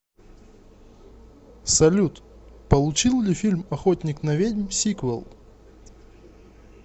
салют получил ли фильм охотник на ведьм сиквел